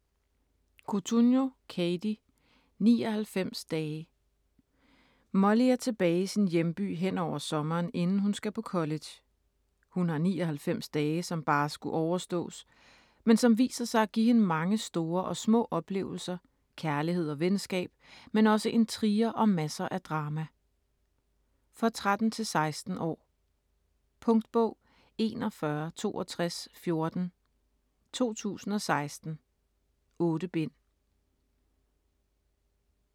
Cotugno, Katie: 99 dage Molly er tilbage i sin hjemby henover sommeren, inden hun skal på college. Hun har 99 dage som bare skulle overstås, men som viser sig at give hende mange store og små oplevelser, kærlighed og venskab, men også intriger og masser af drama. For 13-16 år. Punktbog 416214 2016. 8 bind.